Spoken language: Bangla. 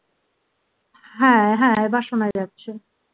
হ্যাঁ হ্যাঁ এবার শোনা যাচ্ছে